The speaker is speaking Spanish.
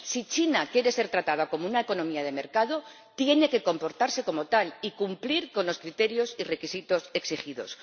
Si China quiere ser tratada como una economía de mercado, tiene que comportarse como tal y cumplir con los criterios y requisitos exigidos.